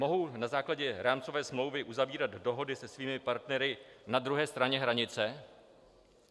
Mohou na základě rámcové smlouvy uzavírat dohody se svými partnery na druhé straně hranice?